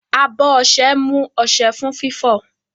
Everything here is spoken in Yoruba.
Abọ́ ọṣẹ mú ọṣẹ fún fífọ̀.